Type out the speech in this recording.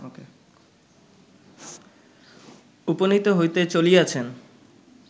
উপনীত হইতে চলিয়াছেন